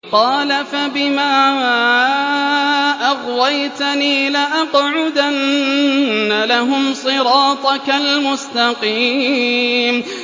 قَالَ فَبِمَا أَغْوَيْتَنِي لَأَقْعُدَنَّ لَهُمْ صِرَاطَكَ الْمُسْتَقِيمَ